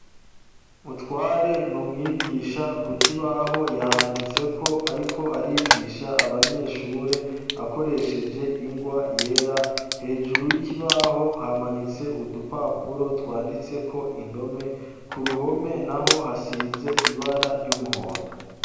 Mutware ni umwigisha ku koibaho yahanditseko, ariko arigisha abanyeshure akoresheje ingwa yera hejuru y'ikibaho hamanitse udupapuro twanditseko indome ku ruhome na ho hasize ibara ry'umuhondo.